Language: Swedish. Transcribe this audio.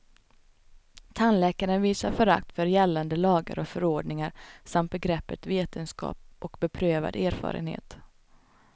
Tandläkaren visar förakt för gällande lagar och förordningar samt begreppet vetenskap och beprövad erfarenhet.